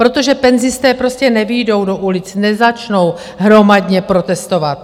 Protože penzisté prostě nevyjdou do ulic, nezačnou hromadně protestovat.